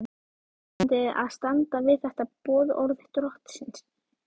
Íslandi að standa við þetta boðorð drottins.